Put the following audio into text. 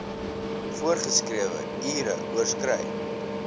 voorgeskrewe ure oorskry